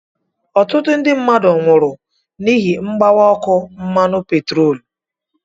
Ọtụtụ ndị mmadụ nwụrụ n'ihi mgbawa ọkụ mmanụ petroolu.